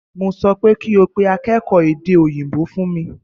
Mo sọ pé kí o pe akékòó èdè òyìnbó wá fún mi!